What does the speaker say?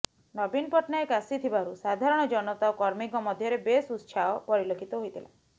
ନବୀନ ପଟ୍ଟନାୟକ ଆସିଥିବାରୁ ସାଧାରଣ ଜନତା ଓ କର୍ମୀଙ୍କ ମଧ୍ୟରେ ବେଶ୍ ଉତ୍ସାହ ପରିଲକ୍ଷିତ ହୋଇଥିଲା